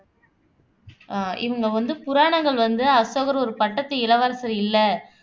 ஆஹ் இவங்க வந்து புராணங்கள் வந்து அசோகர் ஒரு பட்டத்து இளவரசர் இல்லை